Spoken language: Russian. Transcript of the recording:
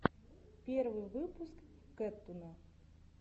первый выпуск кэттуна